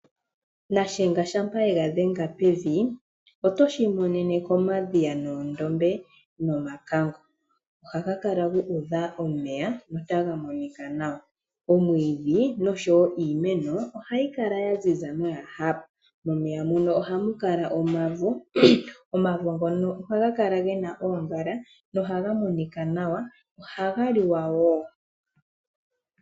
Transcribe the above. Shiyenga shampa yega dhenga pevi oto shimonene komadhiya, oondombe nomakango . Ohaga kala gu udha omeya notaga monika nawa. Omwiidhi noshowo iiimeno ohayi kala yaziza noya hapa. Momeya ohamu kala omavo, omavo ngono ohaga kala gena oongala no haga monika nawa. Ohaga liwa woo